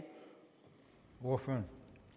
hvorfor